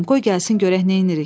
Qoy gəlsin görək neynirik.